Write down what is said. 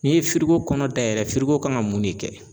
N'i ye kɔnɔ dayɛlɛ kan ka mun ne kɛ?